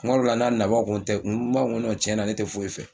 Tuma dɔw la n'a nana n b'a fɔ n ko n tɛ n b'a fɔ n ko tɛ foyi fɛ